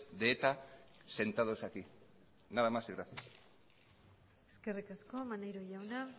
de eta sentados aquí nada más y gracias eskerrik asko maneiro jauna